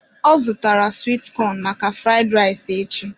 Ọ zụtara swit cọn maka fụraid rais echi